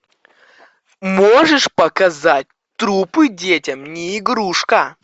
можешь показать трупы детям не игрушка